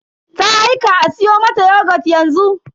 Ta aika a siyo mata yogut yanzu.